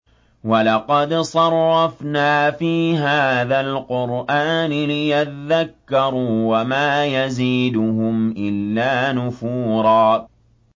وَلَقَدْ صَرَّفْنَا فِي هَٰذَا الْقُرْآنِ لِيَذَّكَّرُوا وَمَا يَزِيدُهُمْ إِلَّا نُفُورًا